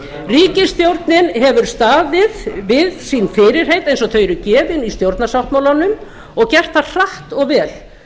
ríkisstjórnin hefur staðið við sín fyrirheit eins og þau eru gefin í stjórnarsáttmálanum og gert það hratt og vel